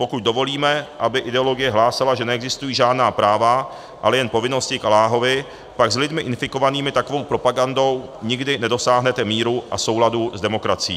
Pokud dovolíme, aby ideologie hlásala, že neexistují žádná práva, ale jen povinnosti k Alláhovi, pak s lidmi infikovanými takovou propagandou nikdy nedosáhnete míru a souladu s demokracií.